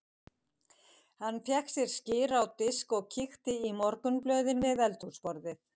Hann fékk sér skyr á disk og kíkti í morgunblöðin við eldhúsborðið.